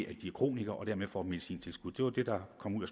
at de er kronikere og dermed får medicintilskud det var det der kom ud